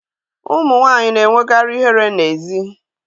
Ụmụ nwanyị na-enwekarị ihere n'èzí